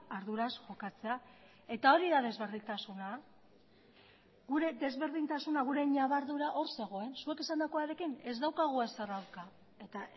arduraz jokatzea eta hori da desberdintasuna gure desberdintasuna gure ñabardura hor zegoen zuek esandakoarekin ez daukagu ezer aurka eta